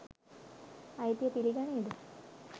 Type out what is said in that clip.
අයිතිය පිලි ගනීද?